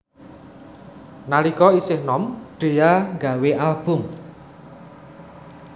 Nalika isih nom Dhea nggawé album